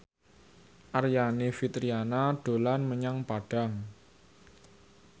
Aryani Fitriana dolan menyang Padang